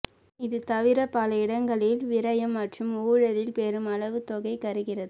இது தவிர பல இடங்களில் விரயம் மற்றும் ஊழலில் பெருமளவு தொகை கரைகிறது